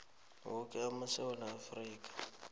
woke wesewula afrika